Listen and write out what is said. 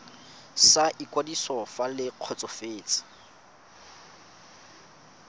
sa ikwadiso fa le kgotsofetse